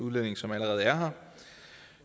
udlænding som allerede er her